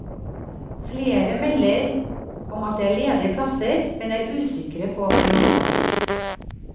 Flere melder om at det er ledige plasser, men er usikre på hvor mange.